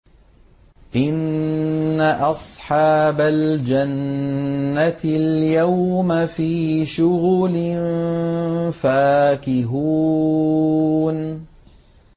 إِنَّ أَصْحَابَ الْجَنَّةِ الْيَوْمَ فِي شُغُلٍ فَاكِهُونَ